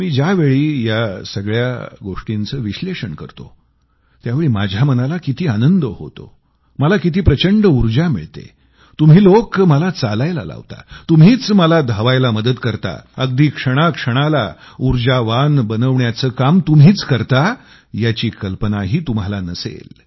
मी ज्यावेळी या अशा सगळ्या गोष्टींचं विश्लेषण करतो त्यावेळी माझ्या मनाला किती आनंद होतो मला किती प्रचंड ऊर्जा मिळते तुम्ही लोक मला चालायला लावता तुम्हीच मला धावायला मदत करता अगदी क्षणाक्षणाला ऊर्जावान बनवण्याचं काम तुम्हीच करता याची कल्पनाही तुम्हाला नसेल